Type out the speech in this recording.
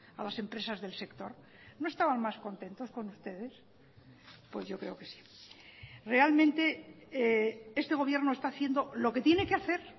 a las empresas del sector no estaban más contentos con ustedes pues yo creo que sí realmente este gobierno está haciendo lo que tiene que hacer